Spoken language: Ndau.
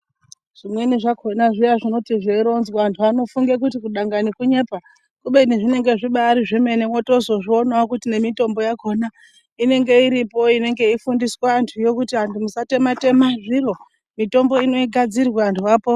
Zvimweni zvakona zviya zvinoti zveironzwa antu anofunge kuti kudangani kunyepa. Kubeni zvinonga zvitori zvemene votozozvionavo kuti nemitombo yakona inenge iripo inenge yeifundiswa antuyo kuti antu musatema-tema zviro, mitombo inogadzirwa antu apone.